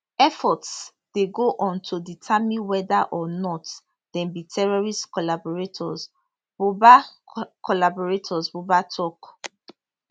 efforts dey go on to determine weda or not dem be terrorist collaborators buba collaborators buba tok